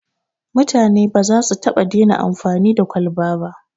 Mutane ba za su taɓa dena amfani da kwaba ba